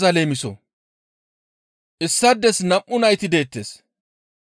«Issaades nam7u nayti deettes.